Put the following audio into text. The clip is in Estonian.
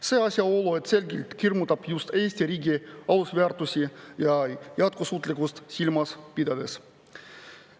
See asjaolu selgelt hirmutab just Eesti riigi alusväärtusi ja jätkusuutlikkust silmas pidades.